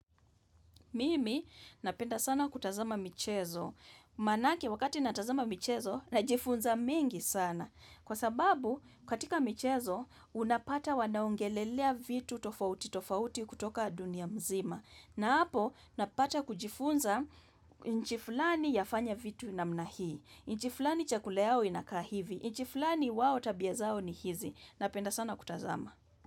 Mimi napenda sana kutazama michezo, maanake wakati natazama michezo najifunza mingi sana, kwa sababu katika michezo unapata wanaongelelea vitu tofauti tofauti kutoka dunia mzima, na hapo napata kujifunza nchi fulani yafanya vitu namna hii, nchi fulani chakula yao inakaa hivi, nchi fulani wao tabia zao ni hizi, napenda sana kutazama.